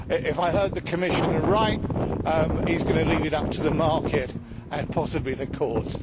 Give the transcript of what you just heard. If I heard the Commissioner right, he is going to leave it up to the market and possibly the courts.